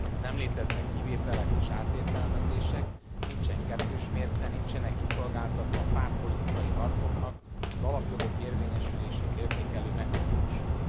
Nem léteznek kivételek és átértelmezések, nincsen kettős mérce, nincsenek kiszolgáltatva pártpolitikai harcoknak az alapjogok érvényesülését értékelő mechanizmusok.